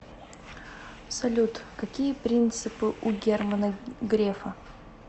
салют какие принципы у германа грефа